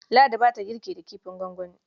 Ladi ba ta girki da kifin gwangwani.